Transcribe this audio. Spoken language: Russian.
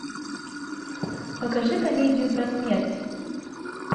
покажи комедию про смерть